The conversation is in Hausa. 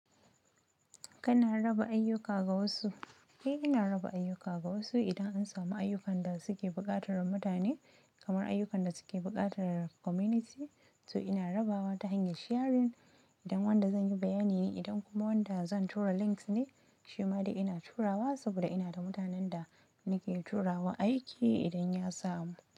Kana raba ayyuka ga wasu? Eh, ina raba ayyuka ga wasu idan an samu ayyukan da suke buƙatar mutane kamar ayyukan da suke buƙatar community. To ina rabawa ta hanyar sharing idan wanda zan yi bayani ne, idan kuma wanda zan tura links ne, shima dai ina turawa saboda ina da mutanen da nake turawa aiki idan ya samu.